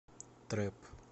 трэп